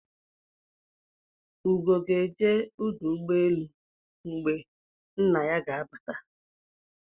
Ugo ga-eje uduugboelu mgbe nna ya ga-abata